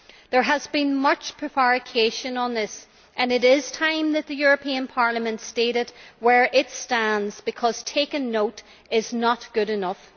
There has been much prevarication on this, and it is time that the European Parliament stated where it stands, because taking note is not good enough.